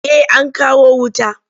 Eh an kawo wuta.